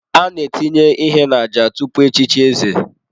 A na-etinye ihe n'àjà tupu echichi eze.